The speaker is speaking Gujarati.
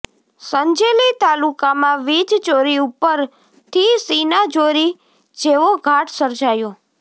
સંજેલી તાલુકામાં વીજ ચોરી ઉપર થી સીનાજોરી જેવો ઘાટ સર્જાયો